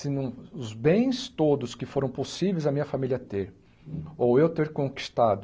Se não os bens todos que foram possíveis a minha família ter, ou eu ter conquistado,